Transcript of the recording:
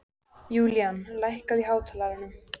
Julian, lækkaðu í hátalaranum.